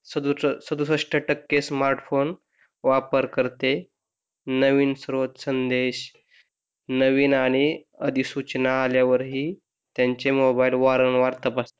सदुसष्ट टक्के smart phone वापर करते नवीन संदेश नवीन आणि अधिसूचना आल्यावर ही त्यांचे मोबाईल वारंवार तपासतात